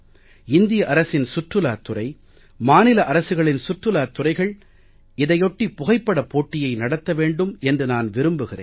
இந்திய அரசின் சுற்றுலாத் துறை மாநில அரசுகளின் சுற்றுலாத் துறைகள் இதையொட்டி புகைப்படப் போட்டியை நடத்த வேண்டும் என்று நான் விரும்புகிறேன்